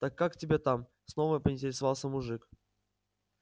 так как тебя там снова поинтересовался мужик